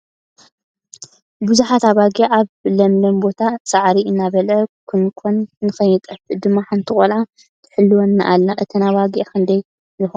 ብዙሓት ኣባጊዕ ኣብ ለምለም ቦታ ሳዕሪ እናበለዐ ኮንነን ንክይጠፍኣ ድማ ሓንቲ ቆልዓ ትሕልዋን ኣላ ? እተን ኣባጊዕ ክንደይ ይኮና ?